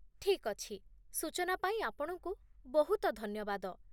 ଠିକ୍ ଅଛି, ସୂଚନା ପାଇଁ ଆପଣଙ୍କୁ ବହୁତ ଧନ୍ୟବାଦ।